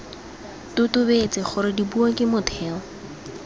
totobetse gore dipuo ke motheo